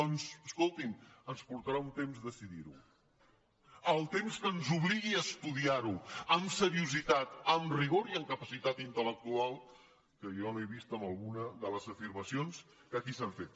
doncs escolti’m ens portarà un temps decidir ho el temps que ens obligui a estudiar ho amb seriositat amb rigor i amb capacitat intel·lectual que jo no he vist en alguna de les afirmacions que aquí s’han fet